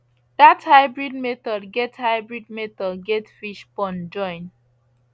that hybrid method get hybrid method get fish pond join